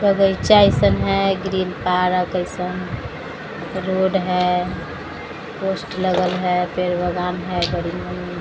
green colour का जैसा road है पोस्टर --